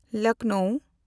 ᱞᱚᱠᱷᱱᱚᱣ